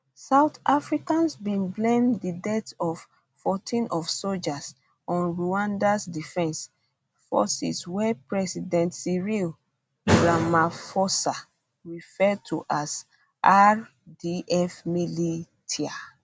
south africans bin blame di deaths of 14 of sojas on rwandan defense forces wey president cyril ramaphosa refer to as rdf militia